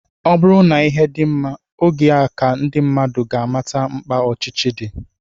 Ọ bụrụ na ihe dị mma, oge a ka ndị mmadụ ga-amata mkpa ọchịchị dị